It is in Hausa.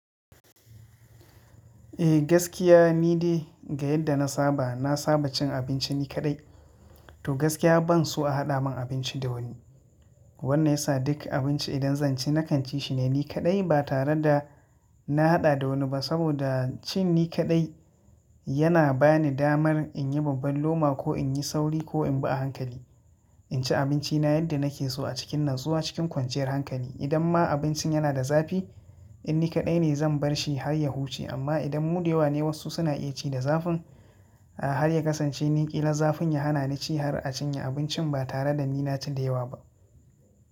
Eh gaskiya nidai ga yadda na saba, na saba cin abinci ni kaɗai. To gaskiya ban so a haɗa mun abinci da wani. Wannan yasa duk abinci idan zan ci na kan ci shi ne ni kaɗai ba tare da na haɗa da wani ba saboda cin ni kaɗai yana bani damar in yi babban loma ko in yi sauri ko in bi a hankali. In ci abinci na yadda nake so a cikin natsuwa cikin kwanciyar hankali. Idan ma abincin yana da zafi in ni kaɗai ne zan bar shi har ya huce amma idan mu da yawa ne wasu suna iya ci da zafin a har ya kasance ni ƙila zafin ya hana ni ci har a cinye abincin ba tare da ni na ci da yawa ba.